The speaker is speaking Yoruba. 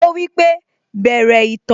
Ó wípé 'Bẹ̀rẹ̀ ìtàn'